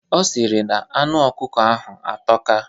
Ọ sịrị na anụ ọkụkọ ahụ atọka.